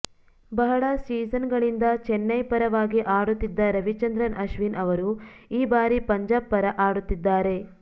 ಬಹಳಾ ಸೀಸನ್ಗಳಿಂದ ಚೆನ್ನೈ ಪರವಾಗಿ ಆಡುತ್ತಿದ್ದ ರವಿಚಂದ್ರನ್ ಅಶ್ವಿನ್ ಅವರು ಈ ಬಾರಿ ಪಂಜಾಬ್ ಪರ ಆಡುತ್ತಿದ್ದಾರೆ